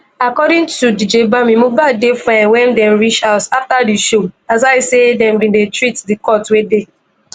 according to dj bami mohbad dey fine wen dem reach house afta di show aside say dem bin dey treat di cut wey dey